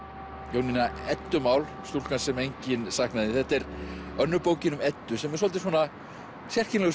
Jónína Eddumál stúlkan sem enginn saknaði þetta er önnur bókin um Eddu sem er svolítið sérkennilegur